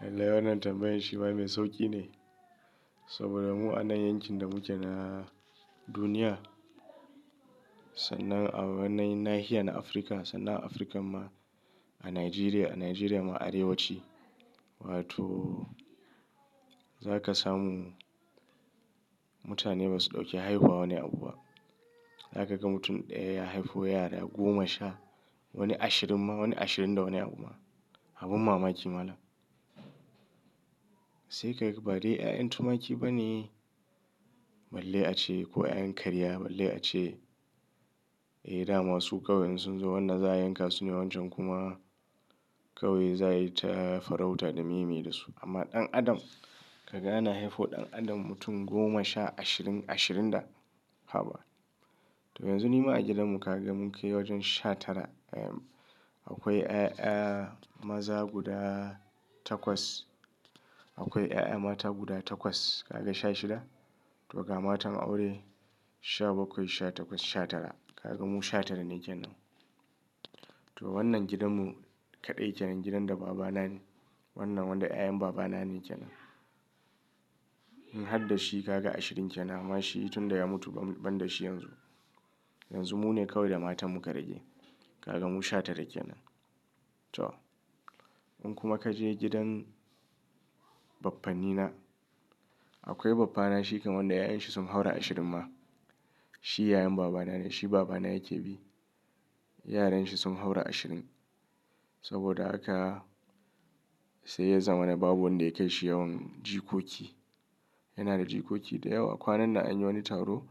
Lalle wannan tambayn shi ma mai sauƙi ne. Saboda mu anan yankin da muke na duniya, sannan a wannan nahiya na Afirka, sannan a Afirka ma a Nigeria, a Nigeria ma Arewaci. Wato za ka samu mutane ba su ɗauki haihuwa wani abu ba. Za ka ga mutum ɗaya ya haifo yara goma sha, wani ashirin ma, wani ashirin da wani abu ma. Abun mamaki malam. Sai ka ga badai 'ya'yan tumaki ba ne, balle a ce ko 'ya'yan kariya balle a ce, eh da ma su ƙawai in sun zo wannan za a yanka su ne wancan kuma ƙawai za a yi ta farauta da meye meye da su. Amma ɗan adam kaga ana haifo ɗan adam mutum goma sha ashirin, ashirin da haba. To yanzu ni ma a gidanmu ka ga mun kai wajen sha tara 'ya'yan. Akwai ya'ya maza guda takwas. Akwai ya'ya mata guda takwas. Kaga sha shida. To ga matan aure sha bakwai, sha takwas, sha tara. Ka ga mu sha tara ne kenan. To wannan gidanmu kaɗai kenan gidan da babana ne. Wannan wanda 'ya'yan babana ne kenan. In hadda shi ka ga ashirin kenan. Amma shi tunda ya mutu ban, ban da shi yanzu. Yanzu mu ne ƙawai da matan muka rage. Ka ga mu sha tara kenan. To in kuma ka je gidan baffanina, akwai baffana shi kam wanda ya'yan shi sun haura ashirin ma. Shi yayan babana ne, shi babana yake bi. Yaran shi sun haura ashirin. Saboda haka sai ya zamana babu wanda ya kai shi yawan jikoki. Yana da jikoki da yawa. Kwanan nan anyi wani taro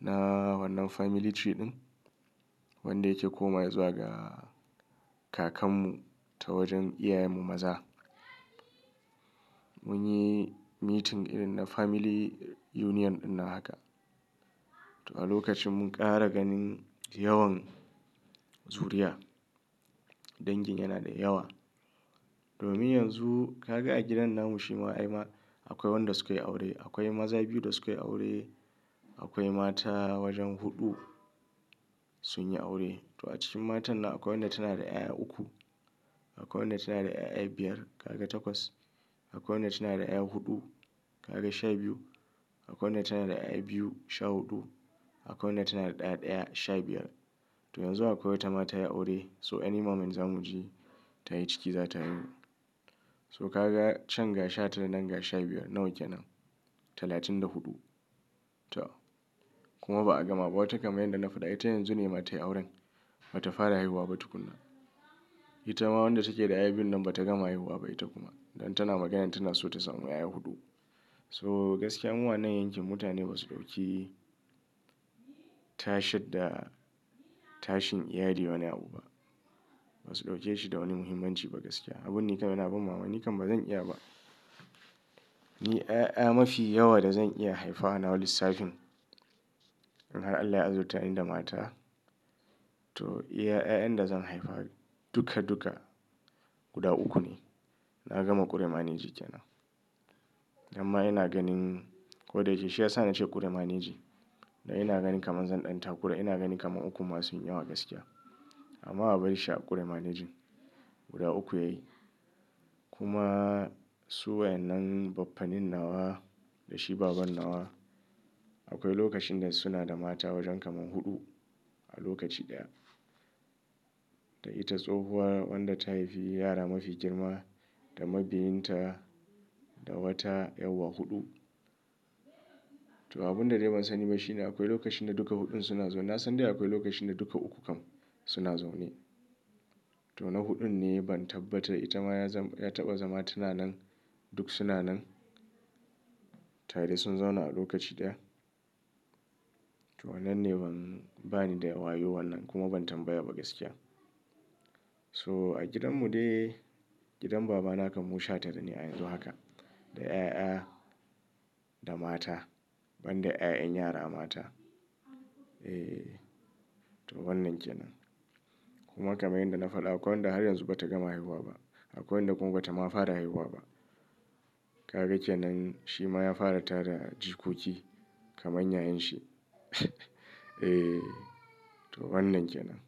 na wannan family tree ɗin, wanda yake komawa zuwa ga kakanmu ta wajen iyayenmu maza. Mun yi meeting irin na family union ɗin nan haka. To a lokacin mun ƙara ganin yawan zuriya. Dangin yana da yawa. Domin yanzu ka ga a gidan namu shi ma ai ma akwai wanda suka yi aure. Akwai maza biyu da suka yi aure. Akwai mata wajen huɗu sun yi aure. To a cikin matannan akwai wanda tana da 'ya'ya uku. Akwai wanda tana da ya'ya biyar. Kaga takwas. Akwai wadda tana da 'ya'ya huɗu. Ka ga sha biyu. Akwai wadda tana da 'ya'ya biyu sha huɗu. Akwai wadda tana da ɗa ɗaya sha biyar. To yanzu akwai wata ma tayi aure so any moment za mu ji ta yi ciki za ta haihu. So ka ga can ga sha tara nan ga sha biyar nawa kenan talatin da huɗu. To kuma ba a gama ba. Wata kaman inda na faɗa ita yanzu ne ma ta yi auren ba ta fara haihuwa ba tukuna. Ita ma wadda take da 'ya'ya biyun nan ba ta gama haihuwa ba ita kuma. Don tana maganan tana so ta samu 'ya'ya huɗu. So gaskiya mu anan yankin mutane ba su ɗauki tashadda tashin iyali wani abu ba. Ba su ɗauke shi da wani muhimmanci ba gaskiya. Abin nikan yana ban mamaki, nikan ba zan iya ba. Ni 'ya'ya mafi yawa da zan iya haifa a nawa lissafin, in har Allah ya azurtani da mata to 'ya'yan da zan haifa duka duka guda uku ne. Na gama ƙure maneji kenan. Ko dam ma ina ganin ko da yake shi ya sa ni ce ƙure maneji dan ina ganin kaman zan ɗan takura ina ganin kaman ukun ma sunyi yawa gaskiya. Amma abar shi a ƙure manejin guda uku yayi. Kuma su wayannan baffanin nawa da shi baban nawa akwai lokacin da suna da mata wajen kaman huɗu a lokaci ɗaya. Da ita tsohuwa wanda ta haifi yara mafi girma da mabiyinta da wata 'yawwa huɗu. To abun da dai ban sani ba shi ne akwai lokacin da duka huɗun suna zaune. Na san dai akwai lokacin da duka uku kam suna zaune. To na huɗun ne ban tabbata. Ita ma ya zam, ya taɓa zama tana nan duk suna nan. Tare sun zauna a lokaci ɗaya. To wannan ne ban bani da wayo wannan kuma ban tambaya ba gaskiya. So a gidanmu dai gidan babana kam mu shatara ne a yanzu haka da 'ya'ya da mata ban da 'ya'yan yara mata. Eh to wannan kenan. Kuma kaman yanda na faɗa akwai wanda har yanzu bata gama haihuwa ba. Akwai wanda kuma ba ta ma fara haihuwa ba. Ka ga kenan shi ma ya fara tara jikoki kamar yayanshi. Eh to wannan kenan.